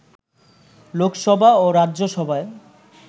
লোকসভা ও রাজ্যসভায়